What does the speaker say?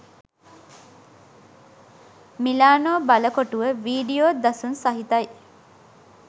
Milano බලකොටුව video දසුන් සහිතයි